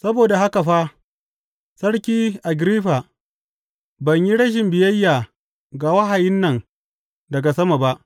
Saboda haka fa, Sarki Agiriffa, ban yi rashin biyayya ga wahayin nan daga sama ba.